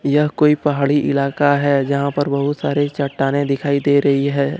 यह कोई पहाड़ी इलाका है जहां पर बहुत सारे चट्टाने दिखाई दे रही है।